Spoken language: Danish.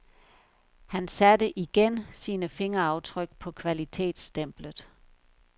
Han satte, igen, sine fingeraftryk på kvalitetsstemplet.